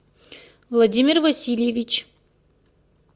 владимир васильевич